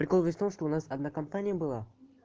прикол весь в том что у нас одна компания была